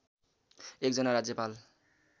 एक जना राज्यपाल